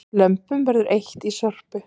Lömpum verður eytt í Sorpu